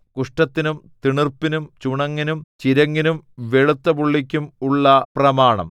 കുഷ്ഠത്തിനും തിണർപ്പിനും ചുണങ്ങിനും ചിരങ്ങിനും വെളുത്തപുള്ളിക്കും ഉള്ള പ്രമാണം